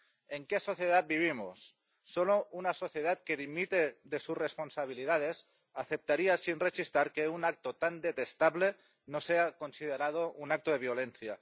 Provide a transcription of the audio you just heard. ¿En qué sociedad vivimos? Solo una sociedad que dimite de sus responsabilidades aceptaría sin rechistar que un acto tan detestable no sea considerado un acto de violencia.